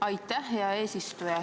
Aitäh, hea eesistuja!